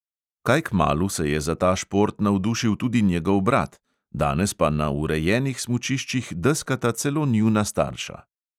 Kaj kmalu se je za ta šport navdušil tudi njegov brat, danes pa na urejenih smučiščih deskata celo njuna starša.